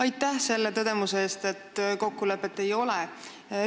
Aitäh selle tõdemuse eest, et kokkulepet ei ole!